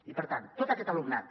i per tant tot aquest alumnat